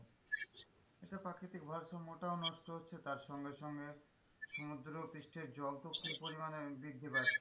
এতে প্রাকৃতিক ভারসাম্য টাও নষ্ট হচ্ছে তার সঙ্গে সঙ্গে সুমদ্র পৃষ্ঠের জল খুব পরিমানে বৃদ্ধি পাচ্ছে।